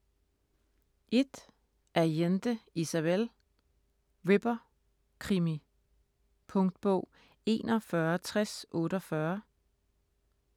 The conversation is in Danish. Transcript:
Allende, Isabel: Ripper: krimi Punktbog 416048